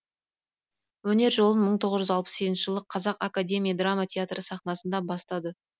өнер жолын мың тоғыз жүз алпыс сегізінші жылы қазақ академия драма театры сахнасынан бастады